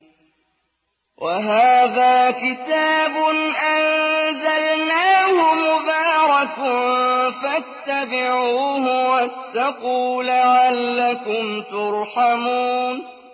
وَهَٰذَا كِتَابٌ أَنزَلْنَاهُ مُبَارَكٌ فَاتَّبِعُوهُ وَاتَّقُوا لَعَلَّكُمْ تُرْحَمُونَ